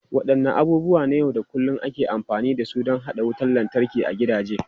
Wadanne abubuwa na yau da kullun ake amfani da su don haɗa wutar lantarki a gidaje?